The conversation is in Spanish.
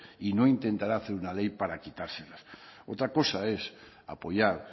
y no intentará hacer una ley para quitárselas otra cosa es apoyar